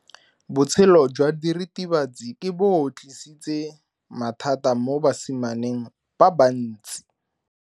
Botshelo jwa diritibatsi ke bo tlisitse mathata mo basimaneng ba bantsi.